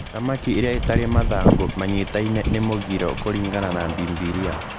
Thamaki irĩa itarĩ mathangũ manyitaine nĩ mũgiro kũringana na Bibiria.